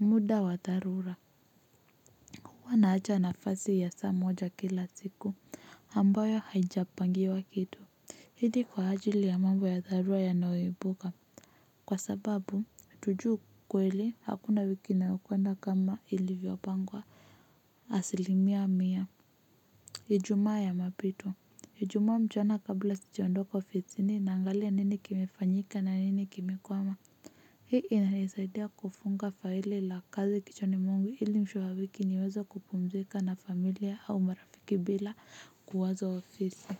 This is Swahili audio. Muda wa dharura. Huwa naacha nafasi ya saa moja kila siku ambayo haijapangiwa kitu. Ili kwa ajili ya mambo ya dharura yanayoibuka, kwa sababu, tujui kweli hakuna wiki inayokwenda kama ilivyopangwa. Asilimia mia ijumaa ya mapito ijumaa mchana kabla sijaondoka ofisini naangalia nini kimefanyika na nini kimekwama. Hii inanisaidia kufunga faili la kazi kichwani mwangu ili mwisho wa wiki niweze kupumzika na familia au marafiki bila kuwaza ofisi.